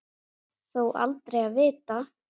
Þó aldrei að vita.